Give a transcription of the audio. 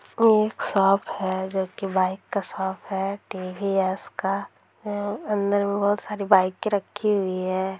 ये एक शॉप है जोकि बाइक का शॉप है टी_वी_एस का मम अंदर में बहुत सारी बाइके रखी हुई है।